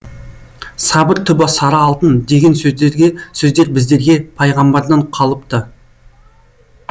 сабыр түбі сары алтын деген сөздер біздерге пайғамбардан қалыпты